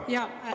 Aitäh!